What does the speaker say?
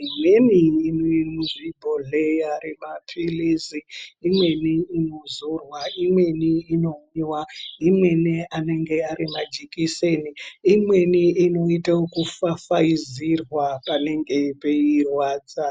imweni irimuuzvibhohleya zvemapilizi, imweni inozorwa ,imweni inomwiwa ,imweni anonga arimajekiseni, imweni inoitwe kufafaidzirwa panenge peirwadza.